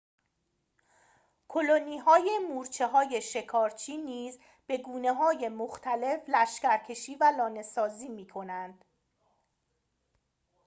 کلونی‌های مورچه‌های شکارچی نیز به گونه‌های مختلف لشکرکشی و لانه‌سازی می‌کنند